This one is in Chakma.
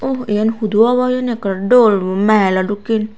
uh yen hudu obo hijeni ekkorey dol mehelo dokken.